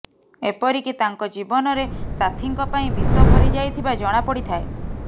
ଏପରିକି ତାଙ୍କ ଜୀବନରେ ସାଥିଙ୍କ ପାଇଁ ବିଷ ଭରିଯାଇଥିବା ଜଣାପଡ଼ିଥାଏ